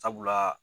Sabula